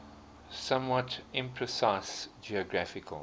somewhat imprecise geographical